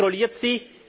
Und wer kontrolliert